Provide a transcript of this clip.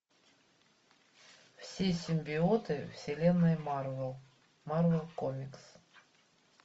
все симбиоты вселенной марвел марвел комикс